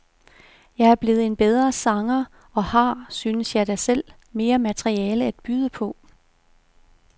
Jeg er blevet en bedre sanger og har, synes jeg da selv, mere materiale at byde på.